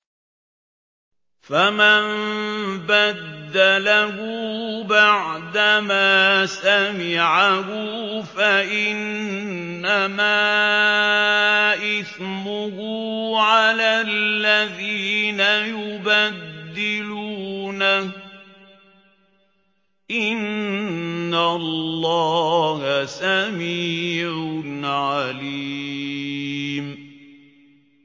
فَمَن بَدَّلَهُ بَعْدَمَا سَمِعَهُ فَإِنَّمَا إِثْمُهُ عَلَى الَّذِينَ يُبَدِّلُونَهُ ۚ إِنَّ اللَّهَ سَمِيعٌ عَلِيمٌ